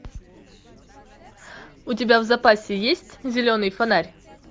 у тебя в запасе есть зеленый фонарь